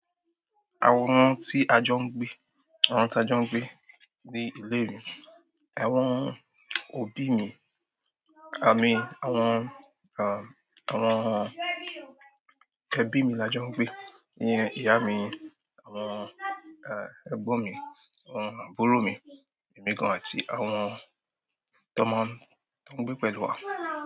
Àwọn tí a jọ ń gbé, àwọn tí a jọ ń gbé ní ìle mi, àwọn òbí mi, àmín àwọn, àwọn ẹbí mi la jọ ń gbé, nyẹn ìyá mi, àwọn ẹgbọn mi, àwọn àbúrò mi ẹ̀mí gan-an àti àwọn tọ maa n gbé pẹ̀lú wa.